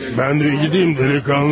Mən də gedeyim, dəliqanlı.